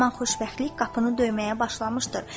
Haman xoşbəxtlik qapını döyməyə başlamışdır.